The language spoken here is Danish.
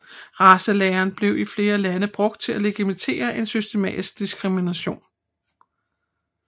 Racelæren blev i flere lande brugt til at legitimere en systematisk diskrimination